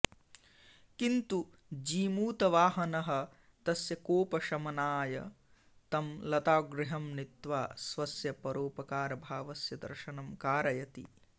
किन्तु जीमूतवाहनः तस्य कोपशमनाय तं लतागृहं नीत्वा स्वस्य परोपकारभावस्य दर्शनं कारयति